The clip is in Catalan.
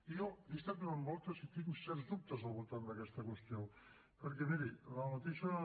i jo hi he estat donant voltes i tinc certs dubtes al voltant d’aquesta qüestió perquè miri la mateixa